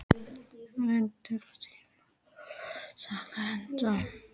Valdór, einhvern tímann þarf allt að taka enda.